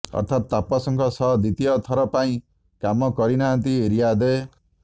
ଅର୍ଥାତ୍ ତାପସଙ୍କ ସହ ଦ୍ୱିତୀୟ ଥରପାଇଁ କାମ କରିନାହାନ୍ତି ରୀୟା ଦେ